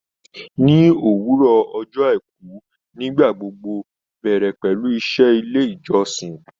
Ní òwúrọ̀ ọjọ àìkú nígbà gbogbo bẹ̀rẹ̀ pẹlú iṣẹ́ ilé ìjọsìn